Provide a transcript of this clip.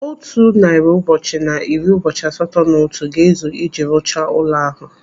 Otu narị ụbọchị na iri ụbọchị asatọ na otu ga-ezu iji rụchaa ụlọ ahụ.